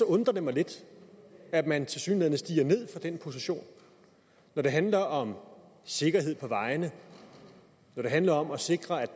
undrer det mig lidt at man tilsyneladende stiger ned fra den position når det handler om sikkerhed på vejene når det handler om at sikre at